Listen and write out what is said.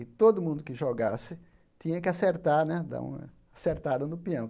E todo mundo que jogasse tinha que acertar né, dar uma acertada no pião.